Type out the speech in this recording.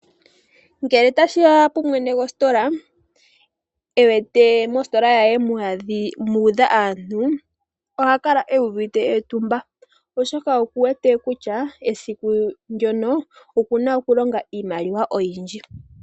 Ngele tashiya kumwene gositola ewete mositola yaye muudha aantu, oha kala uuvite etumba oshoka oku wete kutya esiku ndyono okuna okulonga iimaliwa oyindji.